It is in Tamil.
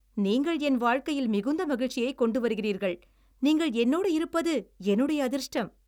நீங்கள் என் வாழ்க்கையில் மிகுந்த மகிழ்ச்சியைக் கொண்டு வருகிறீர்கள். நீங்கள் என்னோடு இருப்பது என்னுடைய அதிர்ஷ்டம்.